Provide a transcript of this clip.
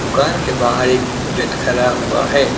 दुकान के बाहर एक बुलेट खड़ा हुआ है।